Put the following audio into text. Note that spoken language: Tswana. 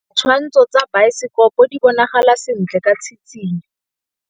Ditshwantshô tsa biosekopo di bonagala sentle ka tshitshinyô.